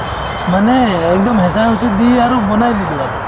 মানে একদম হেঁচা হেঁচি দি আৰু বনাই দিলে আৰু